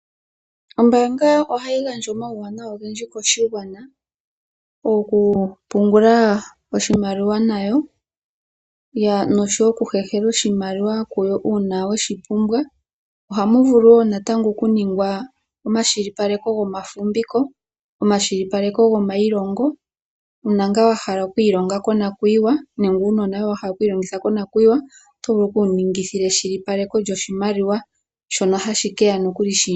Ombaanga ohayi gandja omawuwanawa ogendji koshigwana. Okupungula oshimaliwa nayo, nosho wo okuhehela oshimaliwa kuyo uuna weshipumbwa. Ohamu vulu wo natango okuningwa omashilipaleko gomafumbiko, omashilipaleko gomayilongo, uuna ngaa wahala okwiilonga konakuyiwa nenge wuna uunona woye wahala oku wiilongitha konakuyiwa oto vulu oku wuningila eshilipaleko lyoshimaliwa, shono hashi keya nokuli shiindjipala.